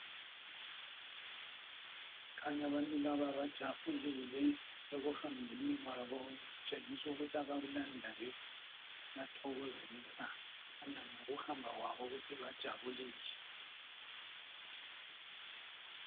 Kukhanya abantu laba bajabulile ,ekuhambeni kwabo abakulandayo kuyathokozisa .Kukhanya ngokuhamba kwabo ukuthi bajabulile.